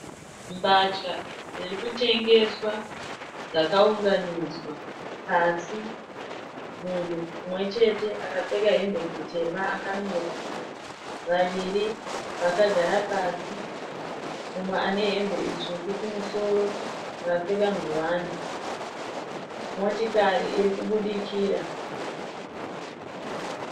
Mbatya dziri kutengeswa dzakaunganidzwa pasi. Munhu mumwe chete akapfeka hembe dzitema akamira. Vaviri vakagara pasi. Mumwe ane hembe itsvuku kumusoro akapfeka ngowani. Motikari iri kubudikira.